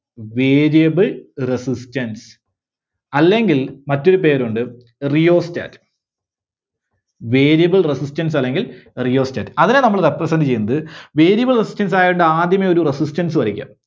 Variable Resistance അല്ലെങ്കിൽ മറ്റൊരു പേരുണ്ട്, Rheostat. Variable Resistance അല്ലെങ്കിൽ Rheostat. അതിനെ നമ്മള് represent ചെയ്യുന്നത് Variable Resistance ആയിട്ട് ആദ്യമേ ഒരു Resistance വരക്ക.